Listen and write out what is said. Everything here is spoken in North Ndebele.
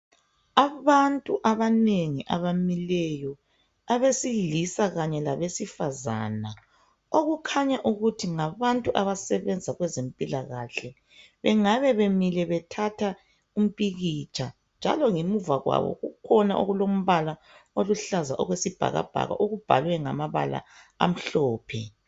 Abantu abanengi abamileyo. Abesilisa kanye labesifazana. Okukhanya ukuthi ngabantu abasebenza kwezempilakahle. Bengabe bemile bethatha umpikitsha njalo ngemuva kwabo kulombala oluhlaza okwesibhakabhaka okubhalwe ngamabala amhlophe.